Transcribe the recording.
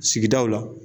Sigidaw la